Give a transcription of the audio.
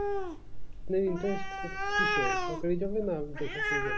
আপনার interest কি~কিসের সরকারি চাকরি না বেশসরকারি চাকরি